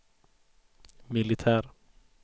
militär